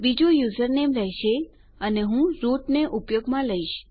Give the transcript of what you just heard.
બીજું યુઝરનેમ રહેશે અને હું રૂટ ને ઉપયોગમાં લઈશ